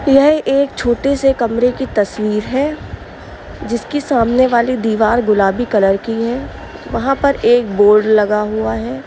यह एक छोटे से कमरे की तस्वीर है। जिसके सामने वाली दीवार गुलाबी कलर की है। वहाँ पर एक बोर्ड लगा हुआ है।